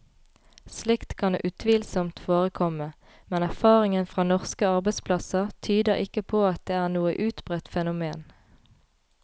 Slikt kan utvilsomt forekomme, men erfaringen fra norske arbeidsplasser tyder ikke på at det er noe utbredt fenomen.